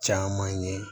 Caman ye